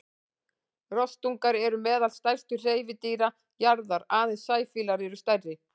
Rostungar eru meðal stærstu hreifadýra jarðar, aðeins sæfílar eru stærri.